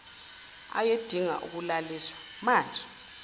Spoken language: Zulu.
ayedinga ukulaliswa manjena